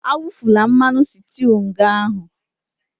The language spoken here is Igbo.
Awufula mmanụ sịtịụ nga ahụ!